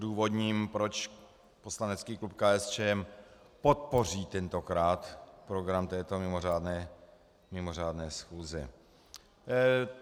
Odůvodním, proč poslanecký klub KSČM podpoří tentokrát program této mimořádné schůze.